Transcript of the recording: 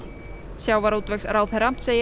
sjávarútvegsráðherra segir